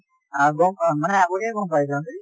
আ গম মানে আগতীয়াকে গম পাই যাওঁ যে